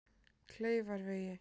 Kleifarvegi